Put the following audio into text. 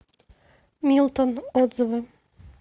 милтон отзывы